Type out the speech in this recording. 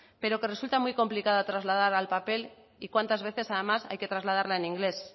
pero que resulta muy complicada trasladar al papel y cuántas veces además hay que trasladarla en inglés